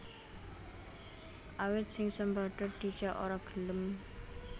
Awit si Sambada dijak ora gelem